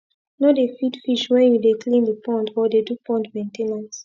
no dey feed fish when you dey clean the pond or dey do pond main ten ance